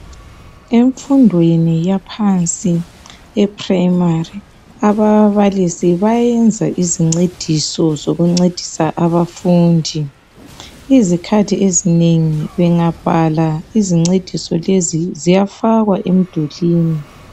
Imfundweni yaphansi yeprimari ababalisi bayenza izincediso zokuncedisa abafundi , izikhathi ezinengi bengabhala izincediso lezi ziyafakwa emdulini.